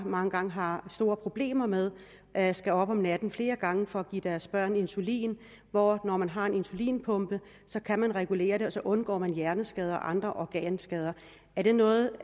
mange gange har store problemer med at skulle op om natten flere gange for at give deres børn insulin hvorimod man har en insulinpumpe kan regulere det og så undgår man hjerneskader og andre organskader er det noget